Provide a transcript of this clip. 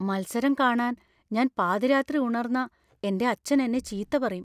മത്സരം കാണാൻ ഞാൻ പാതിരാത്രി ഉണർന്നാ എന്‍റെ അച്ഛൻ എന്നെ ചീത്ത പറയും.